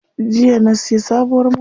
Jiya na siya sabuwar mota.